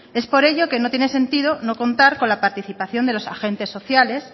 es por ello que no tiene sentido no contar con la participación de los agentes sociales